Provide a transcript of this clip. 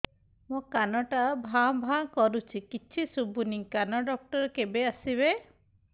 ମୋ କାନ ଟା ଭାଁ ଭାଁ କରୁଛି କିଛି ଶୁଭୁନି କାନ ଡକ୍ଟର କେବେ ଆସିବେ